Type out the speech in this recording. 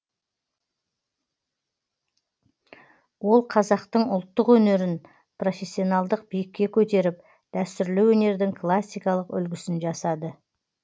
ол қазақтың ұлттық өнерін профессионалдық биікке көтеріп дәстүрлі өнердің классикалық үлгісін жасады